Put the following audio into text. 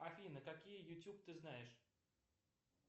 афина какие ютюб ты знаешь